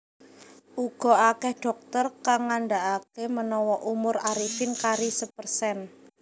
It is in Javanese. Uga akeh dhokter kang ngandakake menawa umur Arifin kari sepersen